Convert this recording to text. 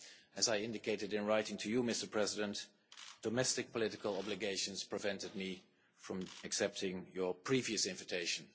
as I indicated in writing to you, Mr President, domestic political obligations prevented me from accepting your previous invitation.